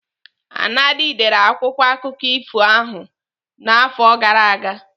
Anadi dere akwụkwọ akụkọ ifo n'afọ gara aga.